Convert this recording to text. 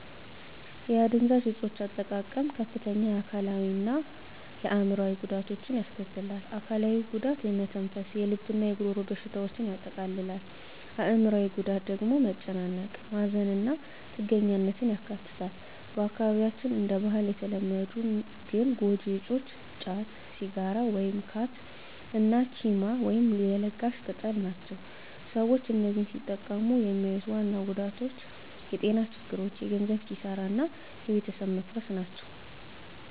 የአደንዛዥ እፆች አጠቃቀም ከፍተኛ የአካላዊ እና አዕምሮአዊ ጉዳቶችን ያስከትላል። አካላዊው ጉዳት የመተንፈስ፣ የልብ እና የጉሮሮ በሽታዎችን ያጠቃልላል። አዕምሮአዊው ጉዳት ደግሞ መጨናነቅ፣ ማዘን እና ጥገኛነትን ያካትታል። በአካባቢያችን እንደ ባህል የተለመዱ ግን ጎጂ እፆች ጫት፣ ሲጋራ (ካት) እና ቺማ (ለጋሽ ቅጠል) ናቸው። ሰዎች እነዚህን ሲጠቀሙ የሚያዩት ዋና ጉዳቶች የጤና ችግሮች፣ የገንዘብ ኪሳራ እና የቤተሰብ መፈረስ ናቸው።